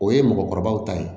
O ye mɔgɔkɔrɔbaw ta ye